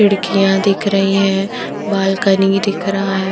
खिड़कियाँ दिख रही हैं बालकनी दिख रहा है।